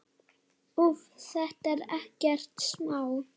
Úff, þetta er ekkert smá.